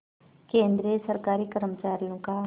केंद्रीय सरकारी कर्मचारियों का